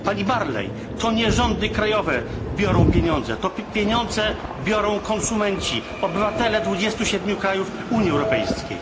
Pani Barley, to nie rządy krajowe biorą pieniądze, pieniądze biorą konsumenci, obywatele dwudziestu siedmiu krajów Unii Europejskiej.